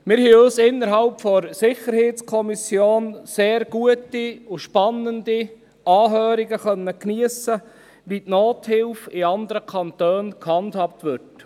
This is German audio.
Wir haben innerhalb der SiK sehr gute und spannende Anhörungen geniessen können, wie die Nothilfe in anderen Kantonen gehandhabt wird.